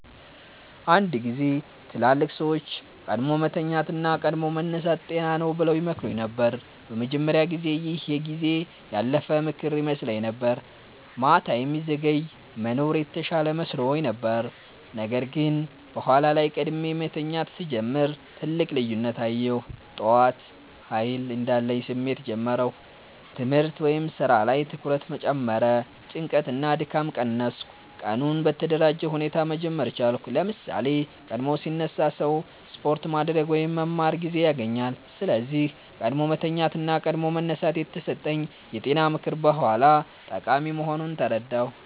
አንድ ጊዜ ትላልቅ ሰዎች “ቀድሞ መተኛት እና ቀድሞ መነሳት ጤና ነው” ብለው ይመክሩኝ ነበር። በመጀመሪያ ጊዜ ይህ የጊዜ ያለፈ ምክር ይመስለኝ ነበር፤ ማታ የሚዘገይ መኖር የተሻለ መስሎኝ ነበር። ነገር ግን በኋላ ላይ ቀድሞ መተኛት ሲጀምር ትልቅ ልዩነት አየሁ። ጠዋት ኃይል እንዳለኝ ስሜት ጀመርሁ ትምህርት/ስራ ላይ ትኩረት ጨመረ ጭንቀት እና ድካም ቀነሰ ቀኑን በተደራጀ ሁኔታ መጀመር ቻልኩ ለምሳሌ፣ ቀድሞ ሲነሳ ሰው ስፖርት ማድረግ ወይም መማር ጊዜ ያገኛል። ስለዚህ “ቀድሞ መተኛት እና ቀድሞ መነሳት” የተሰጠኝ የጤና ምክር በኋላ ጠቃሚ መሆኑን ተረዳሁ።